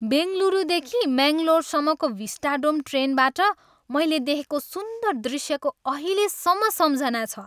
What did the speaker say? बेङ्गलुरुदेखि मङ्गलोरसम्मको भिस्टाडोम ट्रेनबाट मैले देखेको सुन्दर दृश्यको अहिलेसम्म सम्झना छ।